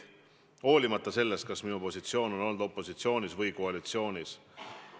Ja seda olenemata sellest, kas minu positsioon on olnud opositsioonis või koalitsioonis.